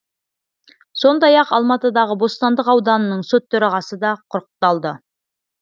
сондай ақ алматыдағы бостандық ауданының сот төрағасы да құрықталды